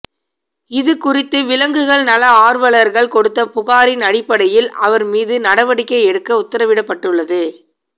இதுகுறித்து விலங்குகள் நல ஆர்வலர்கள் கொடுத்த புகாரின் அடிப்படையில் அவர் மீது நடவடிக்கை எடுக்க உத்தரவிடப்பட்டுள்ளது